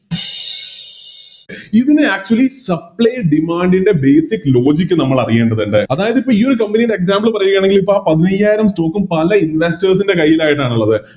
ഇതിനെ Actually supply demand ൻറെ Basic logic നമ്മളറിയേണ്ടതിണ്ട് അതായതിപ്പോ ഈയൊരു Company ൻറെ Example പറയുകയാണെങ്കിലിപ്പോ ആ പതിനയ്യായിരം Stock ഉം പല Investors ൻറെ കൈയിലായിട്ടാണിള്ളത്